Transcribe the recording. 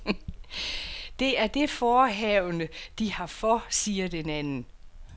Det er det forehavende, de har for, siger den anden.